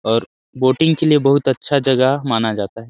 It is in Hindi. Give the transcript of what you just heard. और बोटिंग के लिए बहुत अच्छा जगह माना जाता है |